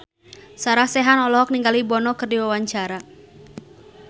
Sarah Sechan olohok ningali Bono keur diwawancara